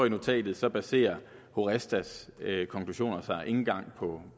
i notatet så baserer horestas konklusioner sig ikke engang på